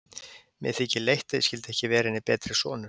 Mér þykir leitt, að ég skyldi ekki vera henni betri sonur.